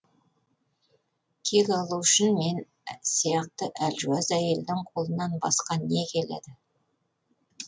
кек алу үшін мен сияқты әлжуаз әйелдің қолынан басқа не келеді